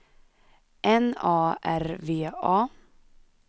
N A R V A